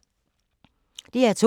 DR2